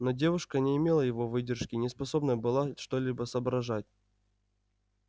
но девушка не имела его выдержки не способна была что-либо соображать